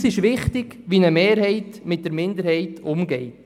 Für uns ist wichtig, wie eine Mehrheit mit der Minderheit umgeht.